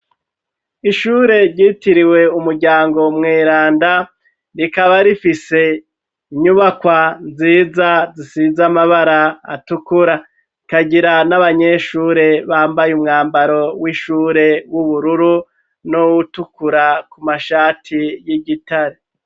Ishure ryitiriwe Umuryango Mweranda rikaba rifise inyubakwa nziza zisiz'amabara atukura ,ikagira n'abanyeshure bambaye umwambaro w'ishure w'ubururu n'utukura ku mashati y'igitare.